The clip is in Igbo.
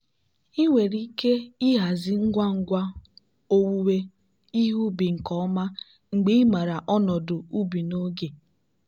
ndị sensọ smart dọrọ anyị aka ná ntị gbasara mgbasa fungal tupu ihe mgbaàmà pụta ìhè.